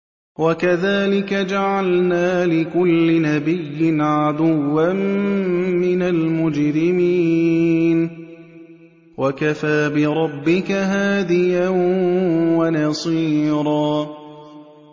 وَكَذَٰلِكَ جَعَلْنَا لِكُلِّ نَبِيٍّ عَدُوًّا مِّنَ الْمُجْرِمِينَ ۗ وَكَفَىٰ بِرَبِّكَ هَادِيًا وَنَصِيرًا